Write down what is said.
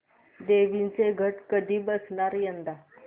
देवींचे घट कधी बसणार यंदा